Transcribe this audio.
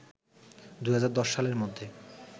২০১০ সালের মধ্যে